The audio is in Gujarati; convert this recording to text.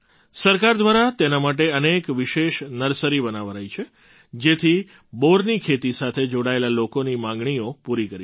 સરકાર દ્વારા તેના માટે અનેક વિશેષ નર્સરી બનાવાઈ છે જેથી બોરની ખેતી સાથે જોડાયેલા લોકોની માગણીઓ પૂરી કરી શકાય